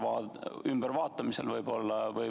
Kas on see ümbervaatamisel?